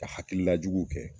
Ka hakilila juguw kɛ